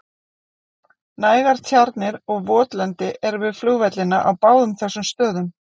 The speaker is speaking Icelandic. Nægar tjarnir og votlendi eru við flugvellina á báðum þessum stöðum.